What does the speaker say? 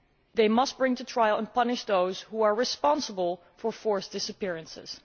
They must bring to trial and punish those who are responsible for forced disappearances.